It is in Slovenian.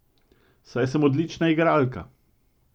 Saj sem odlična igralka!